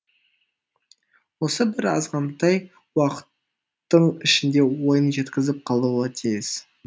осы бір азғантай уақыттың ішінде ойын жеткізіп қалуы тиіс